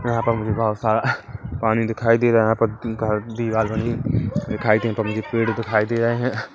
यहाँ मुझे बहोत सारा पानी दिखाई दे रहा है यहाँ पर घर दीवाल बनी हुई दिखाई दे यहाँ पर मुझे पेड़ दिखाई दे रहे है।